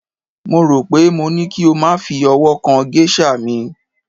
mo ro pe mo ní kí o ma fi ọwọ kan geisha mi